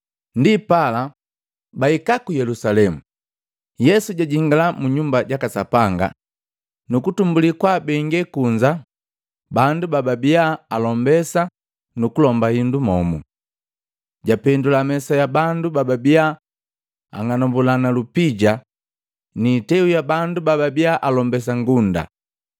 Ndipala, bahika ku Yelusalemu, Yesu jajingala Munyumba jaka Sapanga nukutumbulii kwaabengee kunza bandu bababia alombesa nu kulomba indu momu. Japendula mesa ya bandu bababia ang'anambulana lupija, ni iteu ya bandu bababia alombesa ngunda.